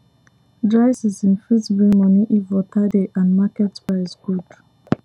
dry season fit bring money if water dey and market price good